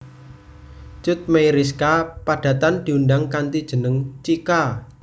Cut Meyriska padatan diundang kanthi jeneng Chika